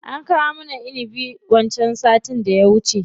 An kawo mana inibi wancan sattin da ya wuce.